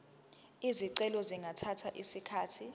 izicelo zingathatha isikhathi